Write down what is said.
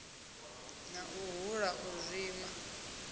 na u hula u zwimba